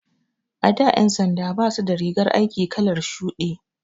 A da ƴan sanda basu da rigar aiki kalar shuɗi.